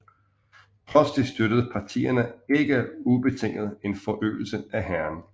Trods det støttede partierne ikke ubetinget en forøgelse af hæren